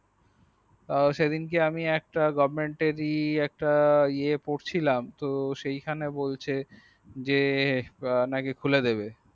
সেদিনকে আমি একটা goverment এর ই একটা এ আ পড়ছিলাম তো সেখানে বলছে যে নাকি খুলে দেবে